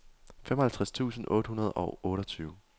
femoghalvtreds tusind otte hundrede og otteogtyve